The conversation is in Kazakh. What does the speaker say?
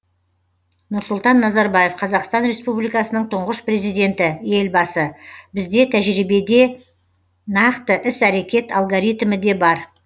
нұрсұлтан назарбаев қазақстан республикасының тұңғыш президенті елбасы бізде тәжірибе де нақты іс әрекет алгоритмі де бар